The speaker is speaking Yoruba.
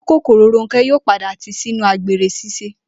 Ojúkòkòrò Rónké̩ yóò padà tìí sínú àgbèrè s̩ís̩e